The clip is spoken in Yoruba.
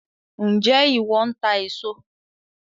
Njẹ iwọ ńtà èso